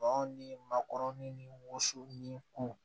Baw ni makɔrɔni ni woso ni ko